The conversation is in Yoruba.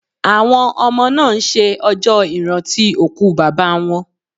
Àwọn ọmọ náà ń ṣe ọjọ́ ìrántí òkú Bàbá wọn